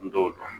N t'o dɔn